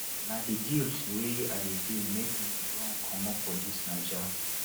na di guilt wey i dey feel make me run comot for dis naija